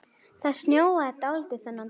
Það snjóaði dálítið þennan dag.